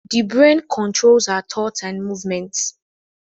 The brain controls our thoughts and movements